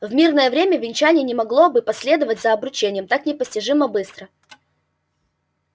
в мирное время венчание не могло бы последовать за обручением так непостижимо быстро